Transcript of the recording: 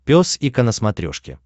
пес и ко на смотрешке